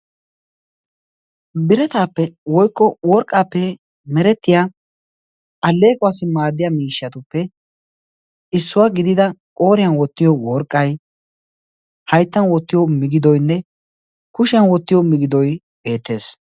birataappe woykko aleequwappe merettiya allequwassi maadiya miishatuppe issuwa gidida kushiyan wotiyo migidoy beetees.